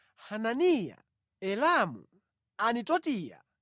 Hananiya, Elamu, Anitotiya,